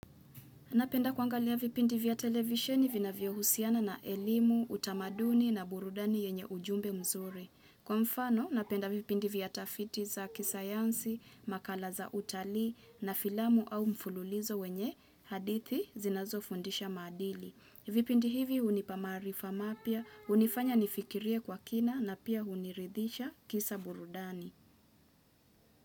Napenda kuangalia vipindi vya televisheni vinavyo husiana na elimu, utamaduni na burudani yenye ujumbe mzuri. Kwa mfano, napenda vipindi vya tafiti za kisayansi, makala za utalii na filamu au mfululizo wenye hadithi zinazo fundisha madili. Vipindi hivi hunipa maarifa mapya, hunifanya nifikirie kwa kina na pia huniridhisha kisa burudani.